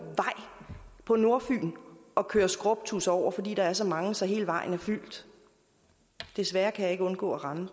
på nordfyn og køre skrubtudser over fordi der er så mange så hele vejen er fyldt desværre kan jeg ikke undgå at ramme